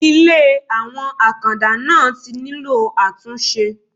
Ilé àwọn Àkàndá náà tí nílò àtúnṣe.